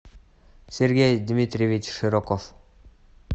сергей дмитриевич широков